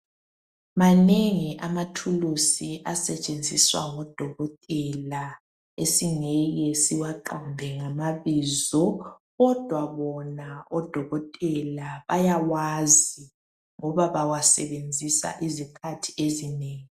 Manengi amathulusi asetshenziswa ngodokotela esingeke siwaqambe ngamabizo kodwa bona odokotela bayawazi ngoba bawasebenzisa izikhathi ezinengi.